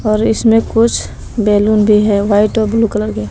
और इसमें कुछ बैलून भी है व्हाइट और ब्लू कलर के।